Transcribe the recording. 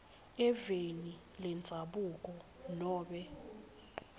eveni lendzabuko nobe